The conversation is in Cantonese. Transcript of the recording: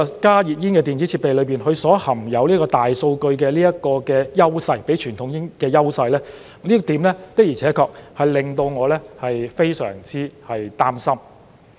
加熱煙的電子設備含有大數據，較傳統煙有優勢，這點的而且確令到我非常擔心。